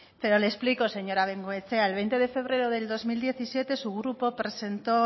pero le explico señora bengoechea el veinte de febrero del dos mil diecisiete su grupo presentó